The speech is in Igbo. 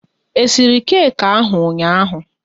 E siri keki ahụ ụnyaahụ?